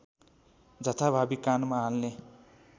जथाभावी कानमा हाल्ने